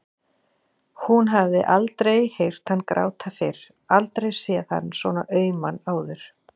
Hún hafði aldrei heyrt hann gráta fyrr, aldrei séð hann svona auman áður.